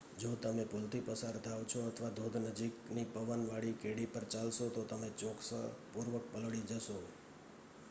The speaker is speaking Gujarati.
જો તમે પુલ થી પસાર થાવ છો અથવા ધોધ નજીકની પવન વાળી કેડી પર ચાલશો તો તમે ચોક્કસ પૂર્વક પલળી જશો